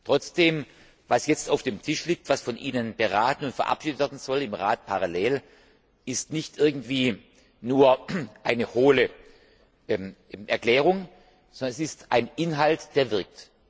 Trotzdem Was jetzt auf dem Tisch liegt, was von Ihnen beraten und verabschiedet werden soll im Rat parallel ist nicht irgendwie nur eine hohle Erklärung, sondern es ist ein Inhalt, der wirkt.